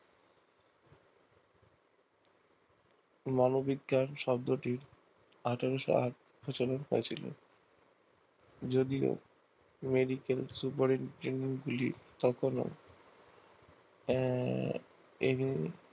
মানব বিজ্ঞান শব্দটি আঠারোশো আট খ্রিস্টাব্দে হয়েছিল যদিও মেডিকেল সুপারিনটেনডেন্ট গুলি তখন ও আহ এভাবে